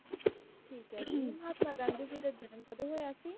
ਠੀਕ ਹੈ ਜੀ, ਮਹਾਤਮਾ ਗਾਂਧੀ ਜੀ ਦਾ ਜਨਮ ਕਦੋਂ ਹੋਇਆ ਸੀ?